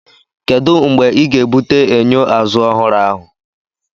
Kedu mgbe ị ga-ebute enyo azụ ọhụrụ ahụ?